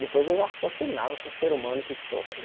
Depois eu raciocinava como o ser humano que sou. Falei